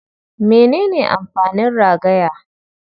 Mene ne amfanin ragaya?